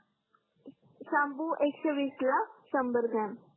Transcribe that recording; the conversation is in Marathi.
शाम्पू एकशे विसला संभर ग्रॉम